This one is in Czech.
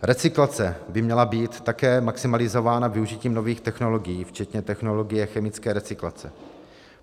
Recyklace by měla být také maximalizována využitím nových technologií včetně technologie chemické recyklace.